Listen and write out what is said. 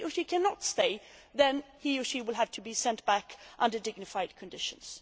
If he or she cannot stay, then he or she will have to be sent back under dignified conditions.